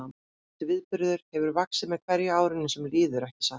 Þessi viðburður hefur vaxið með hverju árinu sem líður, ekki satt?